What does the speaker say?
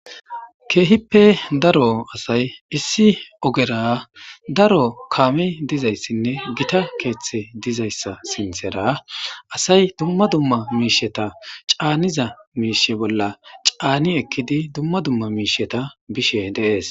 keehippe daro asay issi ogera daro kaame dizayssinne gita keeththe dizayssa sinthera asay dumma dumma miisheta caaniza miishe bolla caani ekkidi dumma dumma miisheta bishe deees